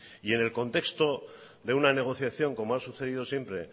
y en el contexto de una negociación como ha sucedido siempre